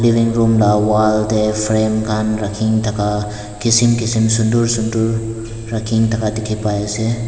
room la wall dae frame khan rakhina thaka kisim kisim sundur sundur rakhina thaka dekhey pai ase.